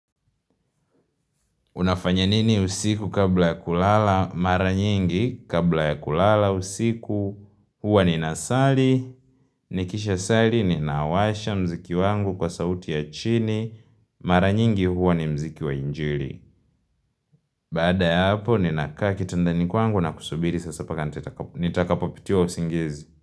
Unafanya nini usiku kabla ya kulala, mara nyingi kabla ya kulala usiku, huwa ninasali, nikisha sali ni nawasha mziki wangu kwa sauti ya chini, mara nyingi huwa ni mziki wa injili. Baada ya hapo, ninakaa kitandani kwangu na kusubiri, sasa paka nitakapopitiwa usingizi.